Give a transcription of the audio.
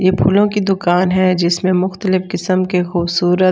ये फूलों की दुकान है जिसमें मुक्तलिफ किस्म के खूबसूरत --